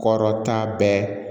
Kɔrɔta bɛɛ